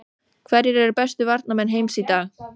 Hverjir eru bestu varnarmenn heims í dag?